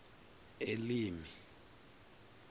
elimi